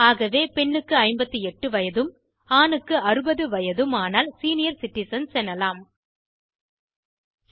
ஆகவே பெண்ணுக்கு 58 வயதும் ஆணுக்கு 60 வயதும் ஆனால் சீனியர் சிட்டிசன்ஸ் மூத்த குடிமக்கள் எனலாம்